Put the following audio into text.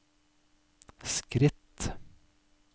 skritt